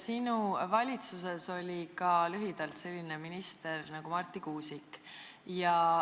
Sinu valitsuses oli lühidalt ka selline minister nagu Marti Kuusik.